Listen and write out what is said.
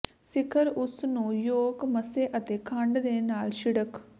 ਸਿਖਰ ਉਸ ਨੂੰ ਯੋਕ ਮਸਹ ਅਤੇ ਖੰਡ ਦੇ ਨਾਲ ਛਿੜਕ